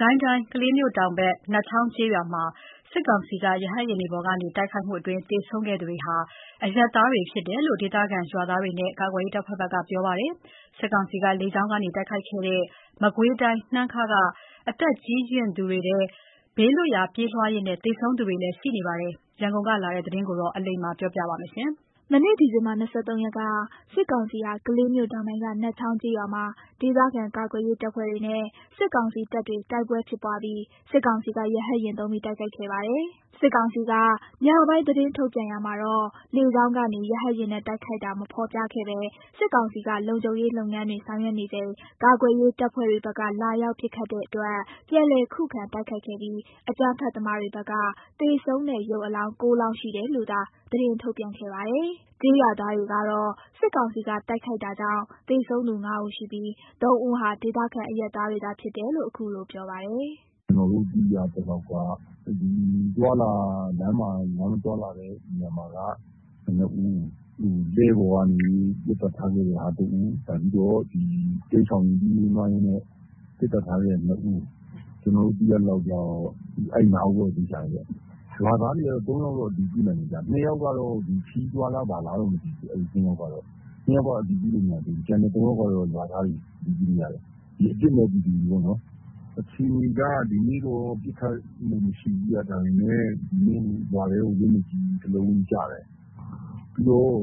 ကိုင်းတိုင်း ကလေးမြို့တောင်ပိုင်း နတ်ချောင်းကျေးရွာမှာ စစ်ကောင်စီက ရဟတ်ယာဉ် သုံးပြီး တိုက်ခိုက်တာကြောင့် သေဆုံးသူတွေဟာ အရပ်သားတွေဖြစ်တယ်လို့ ဒေသခံရွာသားတွေနဲ့ ကာကွယ်ရေးတပ်ဖွဲ့တွေက ပြောပါတယ်။ စစ်ကောင်စီက လေကြောင်းကနေ တိုက်ခိုက်ခဲ့တဲ့ မကွေးတိုင်း နှမ်းခါးရွာက အသက်ရွယ်ကြီးရင့်သူတွေ စစ်ဘေးရှောင်ရင်း သေဆုံးတာတွေရှိနေပါတယ်။ ရန်ကုန်ကလာတဲ့သတင်းကို အလိမ္မာက တင်ပြပေးထားပါတယ်။ မနေ့ ဒီဇင်ဘာ ၂၃ ရက်က စစ်ကောင်စီဟာ ကလေးမြို့တောင်ပိုင်းက နတ်ချောင်းကျေးရွာမှာ ဒေသခံကာကွယ်ရေး တပ်ဖွဲ့တွေနဲ့ စစ်ကောင်စီတပ်တွေ တိုက်ပွဲဖြစ်ပွားပြီး စစ်ကောင်စီက ရဟတ်ယာဉ်သုံးပြီး တိုက်ခိုက်ခဲ့ပါတယ်။ စစ်ကောင်စီက ညပိုင်း သတင်းထုတ်ပြန်ရာမှာတော့ လေကြောင်းကနေ ရဟတ်ယာဉ်နဲ့ တိုက်ခိုက်တာ မဖော်ပြခဲ့ဘဲ စစ်ကောင်စီက လုံခြုံရေးလုပ်ငန်းတွေ ဆောင်ရွက်နေချိန် ကာကွယ်ရေး တပ်ဖွဲ့တွေဘက်က လာရောက်ပစ်ခတ်တဲ့အတွက် ပြန်လည်ခုခံတိုက်ခိုက်ခဲ့ပြီး အကြမ်းဖက်သမားတွေဘက်က သေဆုံးတဲ့ရုပ်အလောင်း ၉ လောင်းရှိတယ်လို့သာ သတင်းထုတ်ပြန်ခဲ့ပါတယ်။ ကျေးရွာသားတွေကတော့ စစ်ကောင်စီကတိုက်ခိုက်တာကြောင့် သေဆုံးသူ ၅ ဦးရှိပြီး ၃ ဦးဟာ ဒေသခံအရပ်သားတွေသာဖြစ်တယ်လို့ အခုလိုပြောပါတယ်။ “ကျနော်တို့သိရသလောက်က လမ်းမှာသွားလာနေတဲ့သူက ၂ ဦး၊ လှည်းပေါ်ကနေ ပစ်သတ်ထားခဲ့တာ ၁ ဦး၊ တိမ်းရှောင်ရင်း ပြေးရင်းလွှားရင်းနဲ့ ပစ်သတ်ထားခဲ့တာ ၂ ဦး။ ကျနော် တို့ သိရသလောက် အဲ့ ၅ ဦးက သေချာတယ်။ ရွာသားတွေက ၃ ယောက် အတည်ပြုနိုင်တယ်။ ၂ ယောက်ကတော့ ခရီးသွားလား ဘာလားတော့မသိဘူး။ အဲဒီ ၂ ယောက်က အတည်ပြုမရဘူး။ ၃ ယောက်က အတည်ပြုလို့ရတယ်။ အပြစ်မဲ့ ပြည်သူတွေပေါ့နော်။ ဒီနေ့အခြေအနေက ပစ်ခတ်မှုမရှိဘူး။ ရွာထဲကို လက်နက်ကြီး တလုံးကျတယ်။ ပြီးတော့